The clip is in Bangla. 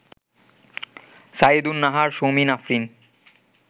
সাইয়েদুন নাহার, সৌমিন আফরিন